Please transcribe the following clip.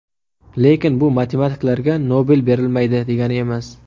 Lekin bu matematiklarga Nobel berilmaydi degani emas.